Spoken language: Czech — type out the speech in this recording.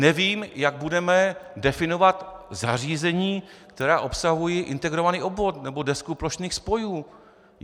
Nevím, jak budeme definovat zařízení, která obsahují integrovaný obvod nebo desku plošných spojů.